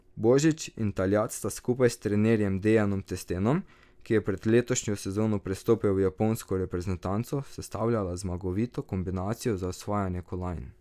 Božič in Taljat sta skupaj s trenerjem Dejanom Testenom, ki je pred letošnjo sezono prestopil v japonsko reprezentanco, sestavljala zmagovito kombinacijo za osvajanje kolajn.